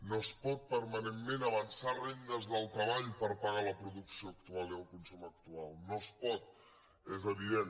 no es pot permanentment avançar rendes del treball per pagar la producció actual i el consum actual no es pot és evident